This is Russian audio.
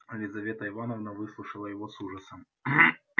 лизавета ивановна выслушала его с ужасом